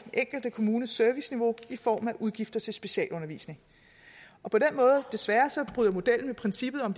enkelte kommunes serviceniveau i form af udgifter til specialundervisning og på den måde desværre bryder modellen med princippet om